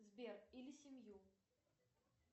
сбер или семью